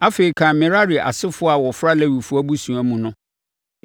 “Afei, kan Merari asefoɔ a wɔfra Lewifoɔ abusua mu no